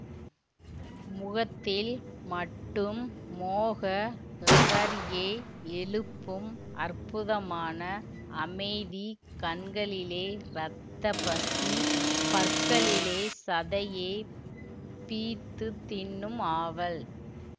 முகத்தில் மட்டும் மோக லகாரியை எழுப்பும் அற்புதமான அமைதி கண்களிலே ரத்தப் பசி பற்களிலே சதையைப் பிய்த்துத் தின்னும் ஆவல்